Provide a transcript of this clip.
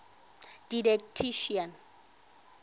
didactician